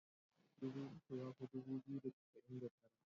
Dubu uku ya fi dubu biyu da casa'in da tara.